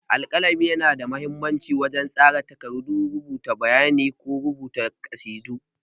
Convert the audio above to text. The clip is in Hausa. Alƙalami yana da mahimmanci wajen tsara takardu, rubuta bayanai ko rubuta ƙasidu.